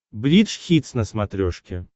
бридж хитс на смотрешке